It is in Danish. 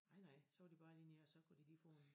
Nej nej så var det bare lige nede og så kunne de lige få en